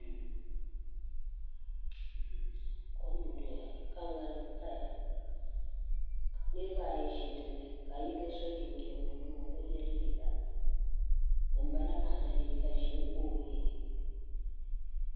Kom n doya ka ŋarim paya ka niraba ayi ʒi dinni ka yino so jinjɛm buluu o bi yɛ liiga ŋunbala maa mii liiga ʒiɛ ka o yɛ